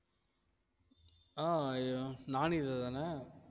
ஆஹ் நானீது தானே